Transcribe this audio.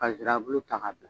Ka nsirabulu ta k'a bila